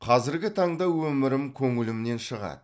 қазіргі таңда өмірім көңілімнен шығады